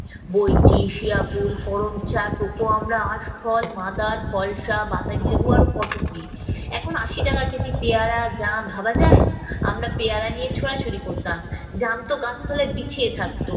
বঁইচি, শিয়া কুল, করমচা, টোকো আমড়া, আঁশফল, মাদার, ফলসা, বাতাবী লেবু আরো কত কি! এখন আশি টাকা কেজি পেয়ারা, জাম ভাবা যায়? আমরা পেয়ারা নিয়ে ছোঁড়াছুড়ি করতাম, জামতো গাছ তলায় বিছিয়ে থাকত।